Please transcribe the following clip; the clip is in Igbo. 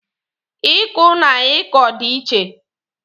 Ị kụ na ị kọ dị iche.